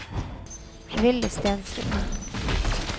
Willy Stensrud